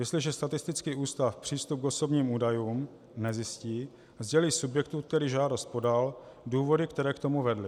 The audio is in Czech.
Jestliže statistický ústav přístup k osobním údajům nezjistí, sdělí subjektu, který žádost podal, důvody, které k tomu vedly.